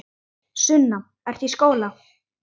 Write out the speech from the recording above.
Sunna: Ertu í skóla?